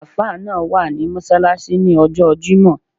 Alfa náà wà ní mọ́ṣáláṣí ní ọjọ́ọ jímọ̀.